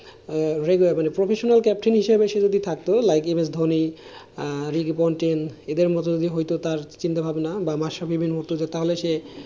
এ ব্যাপারে professional captain হিসাবে সে যদি থাকতো like even Dhoni, Ricky Ponting এদের মতো হইতো যদি তার চিন্তাভাবনা বা মাশারফিরে মত তাহলে সে,